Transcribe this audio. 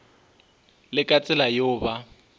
le ka tsela yeo ba